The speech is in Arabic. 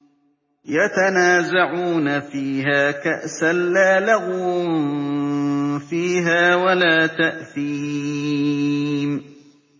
يَتَنَازَعُونَ فِيهَا كَأْسًا لَّا لَغْوٌ فِيهَا وَلَا تَأْثِيمٌ